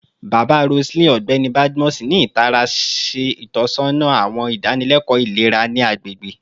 Baba Roseline, Ọgbẹni Badmus, ni itara ṣe itọsọna awọn idanileko ilera ni agbegbe